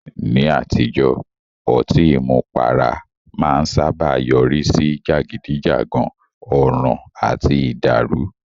Ní àtijọ́, ọtí àmupara máa ń sáábà yọrí sí jàgídíjàgan, ọ̀ràn àti ìdàrù.